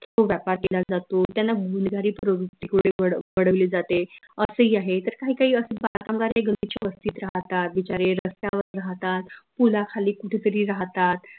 केला जातो त्यांना गुन्हेगारी प्रवृत्ती कडे वडविले जाते असं ही आहे तर काही काही असे बाल कामगार हे गलिच्छ वस्तीत राहतात बिचारे रस्त्यावर राहतात पुलाखाली कुठे तरी राहतात